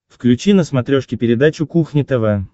включи на смотрешке передачу кухня тв